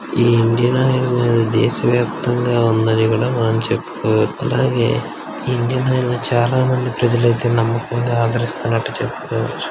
Indian Oil అనేది దేశవ్యాప్తంగా ఉందని ఇక్కడ మనం చెప్పుకోవచ్చు అలాగే ఇండియన్ ఆయిల్ చాలా మంది ప్రజలైతే నమ్మకంగా ఆదరిస్తారట చెప్పుకోవచ్చు.